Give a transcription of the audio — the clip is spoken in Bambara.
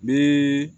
Be